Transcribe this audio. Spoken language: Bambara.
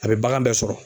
A bɛ bagan bɛɛ sɔrɔ